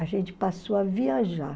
A gente passou a viajar.